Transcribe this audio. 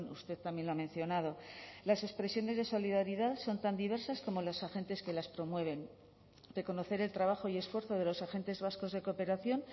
usted también lo ha mencionado las expresiones de solidaridad son tan diversas como los agentes que las promueven reconocer el trabajo y esfuerzo de los agentes vascos de cooperación